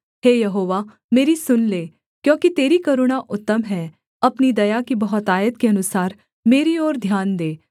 हे यहोवा मेरी सुन ले क्योंकि तेरी करुणा उत्तम है अपनी दया की बहुतायत के अनुसार मेरी ओर ध्यान दे